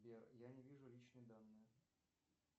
сбер я не вижу личные данные